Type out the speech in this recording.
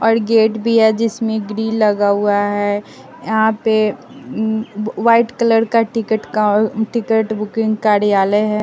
और गेट भी है जिसमें ग्रिल लगा हुआ है यहां पे उम् वाइट कलर का टिकट का टिकट बुकिंग कडयालय है।